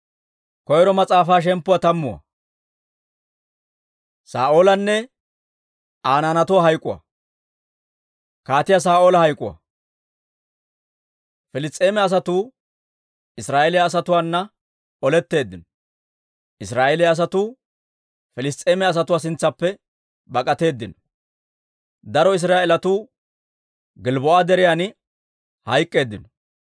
Piliss's'eema asatuu Israa'eeliyaa asatuwaana oletteeddino. Israa'eeliyaa asatuu Piliss's'eema asatuwaa sintsaappe bak'atteedino. Daro Israa'eelatuu Gilbboo'a Deriyan hayk'k'eeddino.